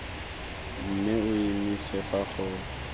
mme o emise fa go